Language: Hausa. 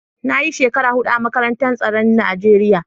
Na yi shekara hudu a makarantar tsaron Najeriya.